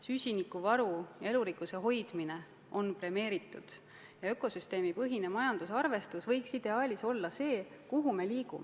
Süsinikuvaru, elurikkuse hoidmine on premeeritud ja ökosüsteemipõhine majandusarvestus võikski ideaalis olla see, kuhu me liigume.